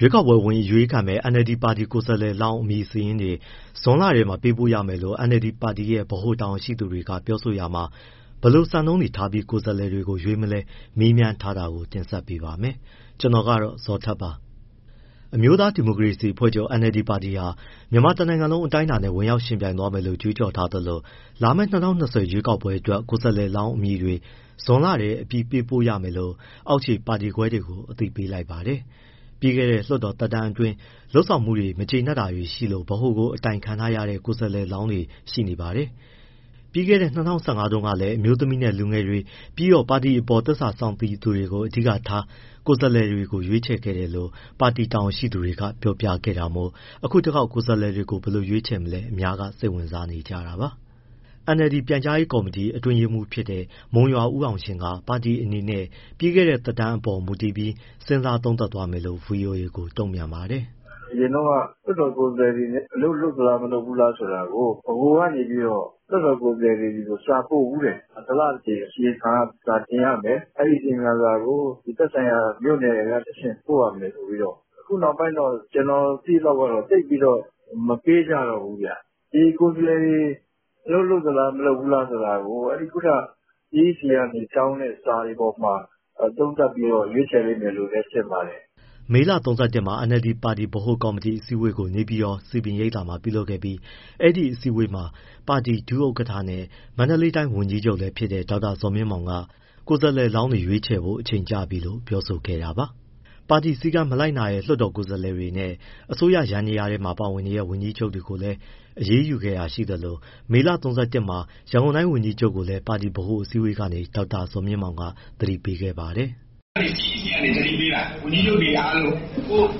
ရွေးကောက်ပွဲဝင်ရွေးခံမယ့် NLD ပါတီကိုယ်စားလှယ်လောင်း အမည်စာရင်းတွေ ဇွန်လထဲမှာ ပေးပို့ရမယ်လို့ အာဏာရ NLD ပါတီရဲ့ဗဟို တာဝန်ရှိသူတွေကပြောဆိုရာမှာ ဘယ်လိုစံနှုန်းထားပြီး ကိုယ်စားလှယ်တွေ ရွေးမလဲ မေးမြန်းထားတာကို ကိုဇော်ထက် တင်ဆက်ပေးပါမယ်။ အမျိုးသား ဒီမိုကရေစီအဖွဲ့ချုပ် NLD ပါတီဟာ မြန်မာတနိုင်ငံလုံးအတိုင်းအတာနဲ့ ဝင်ရောက် ယှဉ်ပြိုင်သွားမယ် လို့ ကြွေးကြော်ထားသလို လာမယ့် ၂၀၂၀ ရွေးကောက်ပွဲအတွက် ကိုယ်စားလှယ်လောင်းအမည်တွေ ဇွန်လထဲ အပြီးပို့ပေးရမယ် လို့ အောက်ခြေပါတီခွဲတွေကို အသိပေးလိုက်ပါတယ်။ပြီးခဲ့တဲ့ လွှတ်တော်သက်တမ်းအတွင်း လုပ်ဆောင်မှုအပေါ် မကျေနပ်မှုတွေရှိလို့ ဗဟိုကို အတိုင်ခံထားရတဲ့ ကိုယ်စားလှယ်တွေရှိနေပါတယ်။ ပြီးခဲ့တဲ့ ၂၀၁၅ ခုနှစ်တုန်းက အမျိုးသမီးနဲ့ လူငယ်တွေ ပြီးတော့ပါတီအပေါ် သစ္စာစောင့်သိသူတွေကို အဓိကထား ကိုယ်စားလှယ်ရွေးချယ်ခဲ့တယ်လို့ ပါတီတာဝန်ယူခဲ့သူတွေက ပြောပြခဲ့တာမို့။ အခုတခေါက် ကိုယ်စားလှယ်တွေကို ဘယ်လို ရွေးချယ်မလဲ အများက စိတ်ဝင်စားနေပါတယ်။ NLD ပြန်ကြားရေးကော်မတီ အတွင်းရေးမှူးဖြစ်တဲ့ မုံရွာဦးအောင်ရှင်က ပါတီအနေနဲ့ ပြီးခဲ့တဲ့သက်တမ်းအပေါ်မူတည်ပြီး စဉ်းစားသုံးသပ်သွားမယ်လို့ ဗွီအိုအေကို တုံ့ပြန်ပါတယ်။ “ အရင်တုန်းက လွှတ်တော်ကိုယ်စားလှယ်တွေ အလုပ်လုပ်လား၊ မလုပ်ဘူးလား ဆိုတာကို ဗဟိုကနေပြီးတော့ လွှတ်တော်ကိုယ်စားလှယ်တွေကို စာပို့ဖူးတယ်။ တလတကြိမ် အစီရင်ခံစာတင်ရမယ်၊ အဲဒီအစီရင်ခံစာကို သက်ဆိုင်ရာကမြို့နယ်ကတဆင့် ပို့ရမယ်ဆိုပြီးတော့။ အခုနောက်ပိုင်းတော့ ကျနော်သိရသလောက် သိပ်ပြီးတော့ မပေးကြတော့ဘူးဗျ။ ဒီကိုယ်စားလှယ်တွေ အလုပ်လုပ်သလား၊ မလုပ်ဘူးလား ဆိုတာကို အဲဒီ ခုနက CEC ကနေတောင်းတဲ့ စာတွေပေါ်မှာ သုံးသပ်ပြီးတော့ ရွေးချယ်လိမ့်မယ်လို့လည်း ထင်ပါတယ်။” မေလ ၃၁ မှာ NLD ပါတီ ဗဟိုကော်မတီ အစည်းအဝေးကို နေပြည်တော် စည်ပင်ရိပ်သာမှာလုပ်ခဲ့ပြီး အဲဒီအစည်းအဝေးမှာ ပါတီ ဒုဥက္ကဋ္ဌနဲ့ မန္တလေးတိုင်း ဝန်ကြီးချုပ်လည်း ဖြစ်တဲ့ ဒေါက်တာဇော်မြင့်မောင်က ကိုယ်စားလှယ်လောင်းတွေ ရွေးချယ်ဖို့ အချိန်ကျပြီလို့ ပြောဆိုခဲ့တာပါ။ ပါတီစည်းကမ်းမလိုက်နာတဲ့ လွှတ်တော်ကိုယ်စားလှယ်တွေ နဲ့ အစိုးရ ယန္တယားမှာ ပါဝင်နေတဲ့ ဝန်ကြီးချုပ်တွေကိုလည်း အရေးယူခဲ့တာရှိသလို မေလ ၃၁ မှာ ရန်ကုန်တိုင်း ဝန်ကြီးချုပ်ကိုလည်း ပါတီဗဟိုအစည်းအဝေး ကနေ ဒေါက်တာဇော်မြင့်မောင်က သတိပေးခဲ့ပါတယ်။ “ CEC ကနေသတိပေးတာ ဝန်ကြီးချုပ်တွေအားလုံး၊ ကိုယ့်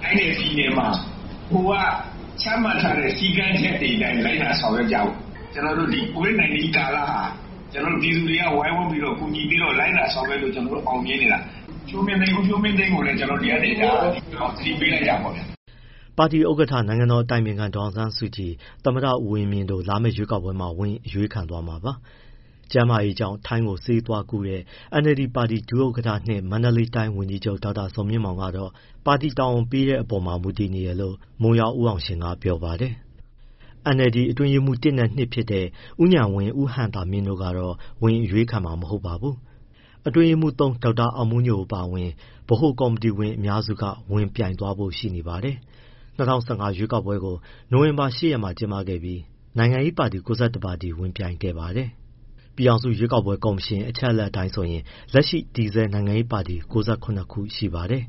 တိုင်းနဲ့ပြည်နယ်မှာ ဗဟိုကချမှတ်ထားတဲ့ စည်းကမ်းချက်တွေအတိုင်း လိုက်နာ ဆောင်ရွက်ကြဖို့၊ ကျနော်တို့ COVID-19 ကာလဟာ ပြည်သူတွေက ဝိုင်းဝန်းပြီးတော့ ကူညီပြီး လိုက်နာဆောင်ရွက်လို့ ကျနော်တို့ အောင်မြင်နေတာ။ ဦးဖြိုးမင်းသိန်းကိုလည်း ဒီကနေ ဒါ သတိပေးလိုက်တာပေါ့ဗျာ။” ပါတီဥက္ကဋ္ဌ နိုင်ငံတော်အတိုင်ပင်ခံ ဒေါ်အောင်ဆန်းစုကြည်၊ သမ္မတဦးဝင်းမြင့် တို့ လာမယ့်ရွေးကောက်ပွဲမှာ ဝင်ရွေးခံသွားမှာပါ။ ကျန်းမာရေးကြောင့် ထိုင်းကို ဆေးကုသွားခဲ့တဲ့ NLD ပါတီဒုဥက္ကဋ္ဌ-၂ မန္တလေးတိုင်း ဝန်ကြီးချုပ် ဒေါက်တာဇော်မြင့်မောင်ကတော့ ပါတီတာဝန်ပေးတဲ့အပေါ်မှာ မူတည်နေတယ်လို့ မုံရွာဦးအောင်ရှင်က ပြောပါတယ်။ NLD အတွင်းရေးမှူး ၁နဲ့ ၂ တွေဖြစ်တဲ့ ဦးဉာဏ်ဝင်း၊ ဦးဟံသာမြင့်တို့ကတော့ ဝင်ရွေးခံမှာ မဟုတ်ပါဘူး။ အတွင်းရေးမှူး ၃ ဒေါက်တာအောင်မိုးညို အပါအဝင် ဗဟိုကော်မတီဝင်အများစု ဝင်ပြိုင်သွားဖို့ ရှိနေပါတယ်။ ၂၀၁၅ ရွှေးကောက်ပွဲကို နိုဝင်ဘာ ၈ ရက်မှာ ကျင်းပခဲ့ပြီး နိုင်ငံရေးပါတီ ၉၁ ပါတီဝင်ပြိုင်ခဲ့ပါတယ်။ ပြည်ထောင်စု ရွေးကောက်ပွဲကော်မရှင် အချက်အလက် အတိုင်းဆိုရင် လက်ရှိ တည်ဆဲနိုင်ငံရေးပါတီ ၉၇ ခုရှိပါတယ်။